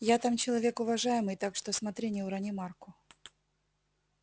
я там человек уважаемый так что смотри не урони марку